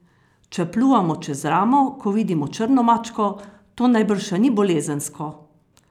Če pljuvamo čez ramo, ko vidimo črno mačko, to najbrž še ni bolezensko?